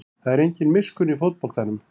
Það er engin miskunn í fótboltanum